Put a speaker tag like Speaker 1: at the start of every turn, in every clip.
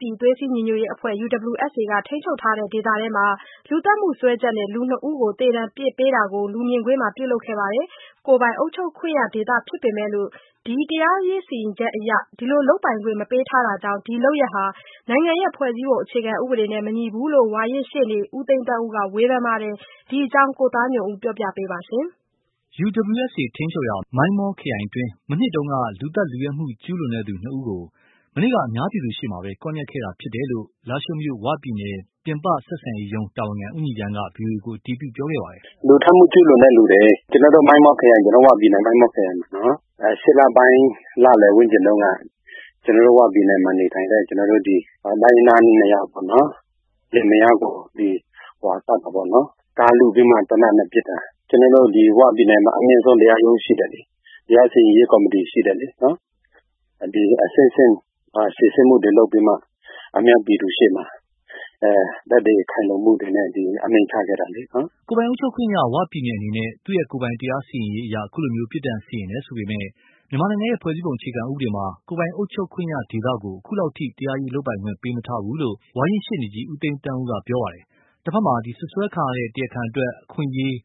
Speaker 1: ပြည်သွေးစည်းညီညွတ်ရေးအဖွဲ့ UWSA ထိန်းချုပ်ရာဒေသတွင်း လူသတ်မှုစွဲချက်နဲ့ လူနှစ်ဦး သေဒဏ်အပြစ်ပေးတာကို ၀ ရုပ်သံက ထုတ်လွှင့်ခဲ့ပါတယ်။ ကိုယ်ပိုင် အုပ်ချုပ်ခွင့်ရဒေသ ဖြစ်ပေမယ့် တရားစီရင်ရေးအရ ဒီလုပ်ပို်င်ခွင့်မပေးထားတာကြောင့်၊ ဒီလုပ်ရပ်ဟာ နိုင်ငံရဲ့ဖွဲ့စည်းပုံအခြေခံဥပဒေနဲ့မညီဘူးလို့ ဝါရင့်ရှေ့နေ ဦးသိန်းသန်းဦးက ဝေဖန်ပါတယ်။ ဒီအကြောင်း ကိုသားညွန့်ဦးက ပြောပြမှာပါ။
Speaker 2: UWSA ထိန်းချုပ်ရာ မိုင်းမောခရိုင်အတွင်း မနှစ်တုန်းက လူသတ်လုယက်မှုကျူးလွန်သူ နှစ်ဦးကို မနေ့က ကွပ်မြက်ခဲ့တာဖြစ်တယ်လို့ လားရှိုးမြို့ ဝပြည်နယ်ပြည်ပဆက်ဆံရေးရုံး တာဝန်ခံ ဦးညီရမ်းက ဗွီအိုအေကို အတည်ပြု ပြောခဲ့ပါတယ်။
Speaker 3: "လူသတ်မှု ကျူးလွန်တဲ့လူတွေ ကျနော်တို့ ၀ ပြည်နယ် မိုင်းမောက်ခရိုင်မှာနော် ၈ လပိုင်း လလယ်ဝန်းကျင်တုန်းက ကျနော်တို့ ဝပြည်နယ်မှာနေထိုင်တဲ့ တိုင်းရင်းသား၂ ယောက် လင်မယားကို သတ်တာပေါ့နော် ကားလုပြီးတော့ သေနတ်နဲ့ သတ်တာ။ ကျနော်တို့ ဒီပြည်နယ်မှာ အမြင့်ဆုံးတရားရုံးရှိတယ်လေ။ တရားစီရင်ရေးကော်မတီရှိတယ်လေ ဒီလိုအဆင့်ဆင့် စီစစ်မှု ပြီးမှ အများပြည်သူရှေ့မှာ သက်သေခိုင်လုံမှုတွေနဲ့ အမိန့်ချခဲ့တာလေနော်။
Speaker 2: " ကိုယ်ပိုင်အုပ်ချုပ်ခွင့်ရ ဝပြည်နယ်အနေနဲ့ သူ့ကိုယ်ပိုင်တရားစီရင်ရေးအရ အခုလို ပြစ်ဒဏ်စီရင်တယ်ဆိုပေမယ့်လည်း မြန်မာနိုင်ငံရဲ့ ဖွဲ့စည်းပုံအခြေခံဥပဒေမှာ ကိုယ်ပိုင်အုပ်ချုပ်ခွင့်ရဒေသကို အခုထိ တရားရေးလုပ်ပိုင်ခွင့်ပေးမထားဘူးလို့ ဝါရင့်ရှေ့နေကြီး ဦးသိန်းသန်းဦးက ပြောပါတယ်။ တဖက်မှာ စွတ်စွဲခံရတဲ့ တရားခံ အတွက် အခွင့်အရေး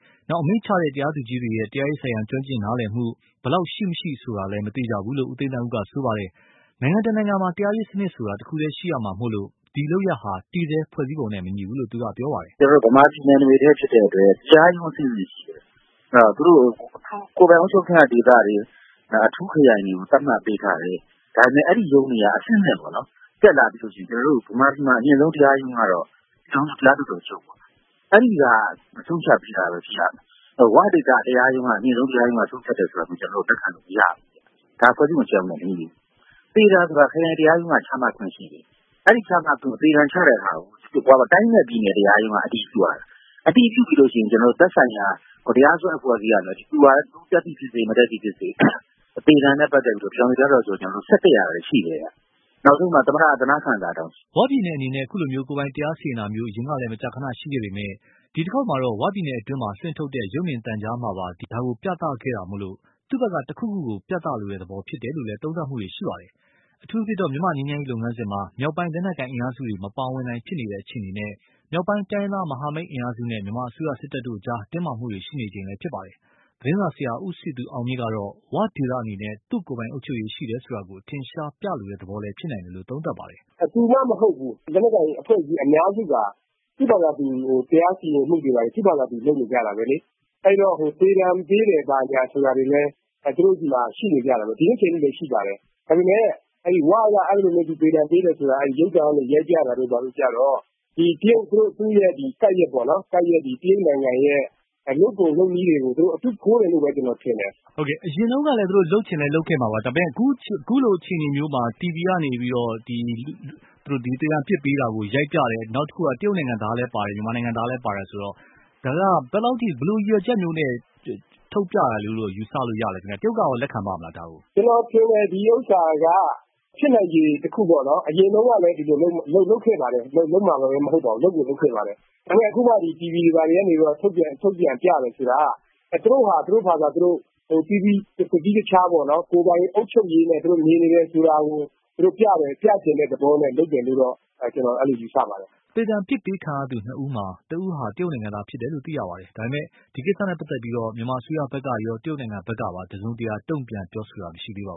Speaker 2: အမိန့်ချတဲ့ တရားသူကြီးတွေရဲ့ တရားရေးဆိုင်ရာ ကျွမ်းကျင် နားလည်မှု ဘယ်လောက်ရှိမရှိဆိုတာ မသေချာဘူးလို့လည်း ဦးသိန်းသန်းဦးက ပြောပါတယ်။ နိုင်ငံတနိုင်ငံမှာ တရားရေးစနစ်ဆိုတာ တခုတည်းရှိရမှာမို့၊ ဒီလုပ်ရပ်ဟာ တည်ဆဲ ဖွဲ့စည်းပုံနဲ့မညီဘူးလို့ ပြောပါတယ်။
Speaker 4: "ကျနော်တို့ မြန်မာပြည်နယ် တခုတည်းဖြစ်တဲ့အတွက် တရားရုံးအဆင့်ဆင့် ရှိတယ်။ သူတို့ ကိုယ်ပိုင်အုပ်ချုပ်ခွင့်ရဒေသတွေ အထူးခရိုင်တွေကို သတ်မှတ် ပေးထားတယ် ဒါပေမယ့် အဲဒီရုံးတွေက အဆင့်ဆင့်ပေါေ့နာ် တက်လာပြီးတော့ မြန်မာပြည်မှာ အမြင့်ဆုံးတရားရုံးကတော့ တရားလွှတ်တော်ချုပ်ပေါ့ အဲဒီဟာ ဆုံးဖြတ်တာပဲ ဖြစ်ရမယ်။ ဝဒေသအထူး အမြင့်ဆုံးတရားရုံးက ဆုံးဖြတ်တယ်ဆိုတာ ကျနော်တို့ လက်ခံလို့မရဘူး။ ဖွဲ့စည်းပုံအခြေခံဥပဒေနဲ့ မညီဘူး သေဒဏ်ဆိုတာ ခရိုင်တရားရုံးက ချမှတ်တယ်၊ အဲဒီ သေဒဏ်ချမှတ်တာကို တိုင်းနဲ့ ပြည်နယ် တရားရုံးက အတည်ပြုရတာ၊ အတည် ပြုပြီးရင် သက်ဆိုင်ရာ တရားစွဲ အဖွဲ့အစည်းက ပြည်ထောင်စု တရားလွှတ်တော်ချုပ်ဆီက ဆက်တက်ရတာရှိတယ်။ နောက်ဆုံး သမ္မတ အသနားခံစာတောင်
Speaker 2: ရှိတယ်။" ၀ ပြည်နယ်အနေနဲ့ အခုလို ကိုယ်ပိုင်တရားစီရင်တာမျိုး အရင်ကလည်း မကြာခဏ ရှိခဲ့ပေမယ့်၊ ဒီတခေါက်မှာတော့ ဝပြည်နယ်တွင်းမှာ လွှင့်ထုတ်တဲ့ ရုပ်မြင်သံကြားမှာပါ လွှင့်ထုတ်တာကြောင့် သူ့ဖက်က တခုခုကို ပြသလိုတဲ့ သဘောဖြစ်နိုင်တယ်လို့လည်း သုံးသပ်မှုတွေရှိပါတယ်။ အထူးသဖြင့် မြန်မာ့ငြိမ်းချမ်းရေးလုပ်ငန်းစဉ်မှာ မြောက်ပိုင်း လက်နက်ကိုင်အင်အားစုတွေ မပါဝင်နိုင်ဖြစ်နေတဲ့အခြေအနေနဲ့၊ အထူးသဖြင့် မြောက်ပိုင်းတိုင်းရင်းသားမဟာမိတ်အင်အားစုနဲ့ မြန်မာအစိုးစစ်တပ်တို့အကြား တင်းမာမှုတွေ ရှိနေချိန်လည်းဖြစ်ပါတယ်။ သတင်းစာဆရာ ဦးစည်သူအောင်မြင့်ကတော့ ၀ ဒေသအနေနဲ့ သူ့ကိုယ်ပိုင်အုပ်ချုပ်ရေးရှိတယ်ဆိုတာကို အထင်အရှားပြလိုတဲ့ သဘောလည်းဖြစ်နိုင်တယ်လို့ သုံးသပ်ပါတယ်။ "သူမှ
Speaker 1: မဟုတ်ပါဘူး လက်နက်ကိုင်အဖွဲ့အစည်းအများစုက သူ့ဟာသူ တရားစီရင်မှုတွေ လုပ်လို့ရတာပဲလေ ။ အဲဒီတော့ သေဒဏ်ပေးတယ်ဆိုတာတွေလည်း ရှိနေကြတယ် ဒီနေ့အချိန်အထိလည်း ရှိနေတယ်။ ဒါပေမယ့် ဝက အဲဒီလိုမျိုးသေဒဏ်ပေးတာကို ရုပ်သံနဲ့ ရိုက်ပြတာကတော့ ဒီ သူ့ကပ်လျက် တရုတ်နိုင်ငံရဲ့ လုပ်ပုံလုပ်နည်းတွေကို အတု ခိုးတယ်လို့ ကျနော်မြင်တယ်။
Speaker 2: မေး။ ။ အရင်တုန်းကလည်း သူလို့ လုပ်ချင်ရင်လုပ်ခဲ့မှာပါ ဒါပေမယ့် အခုလို TV ကနေပြီးတော့ သေဒဏ်အပြစ်ပေးတာကို ရိုက်ပြတယ်။ အခုက တရုတ်နိုင်ငံသားလည်း ပါတယ်။ မြန်မာနိုင်ငံသားလည်းပါတယ် ဆိုတော့ ဒါက ဘယ်လောက်အထိ ဘယ်လိုရည်ရွယ်ချက်မျိုးနဲ့ လုပ်တာလို့ ယူဆလို့ရပါသလဲ ။ တရုတ်ကရော လက်ခံပါသလား။
Speaker 1: ဖြေ။ ။ ကျနော်ထင်တယ် ဒီဟာက ဖြစ်နိုင်ခြေတခုပေါ့နော် အရင်တုန်းကလည်းဒီလို လုပ်ခဲ့ပါတယ်။ ဒါပေမယ့် အခု TV တွေကနေ ထုတ်ပြတယ်ဆိုတာက သူတို့ဟာသူတို့ တသီးတခြား ကိုယ်ပိုင်အုပ်ချုပ်ရေးနဲ့ နေနေတာကို သူတို့ ပြချင်တဲ့ သဘောလို့တော့ ယူဆပါတယ်။
Speaker 2: " သေဒဏ် အပြစ်ပေးခံရသူနှစ်ဦးမှာ တဦးဟာ တရုတ်နိုင်ငံသားဖြစ်တယ်လို့လည်း သိရပါတယ်။ ဒါပေမယ့် ဒီ ကိစ္စနဲ့ပတ်သက်လို့ မြန်မာအစိုးရဖက်ရော တရုတ်နိုင်ငံဖက်ကပါ တစုံတရာ တုံ့ပြန်ပြော
Speaker 4: ဆိုတာမရှိသေးပါ